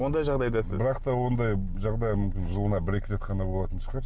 ондай жағдайда сіз бірақ та ондай жағдай мүмкін жылына бір екі рет қана болатын шығар